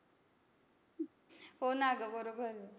हो ना गं, बरोबर आहे.